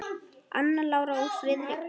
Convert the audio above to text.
Anna Lára og Friðrik Breki.